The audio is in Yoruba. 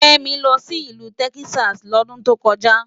Femi lò si ilù Tèkisási lòdùn tókòjá